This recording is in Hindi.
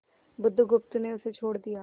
बुधगुप्त ने उसे छोड़ दिया